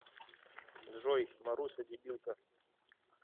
джой маруся дебилка